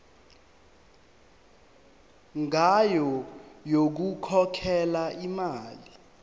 ngayo yokukhokhela imali